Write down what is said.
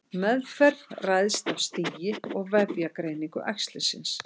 Meðferð ræðst af stigi og vefjagreiningu æxlisins.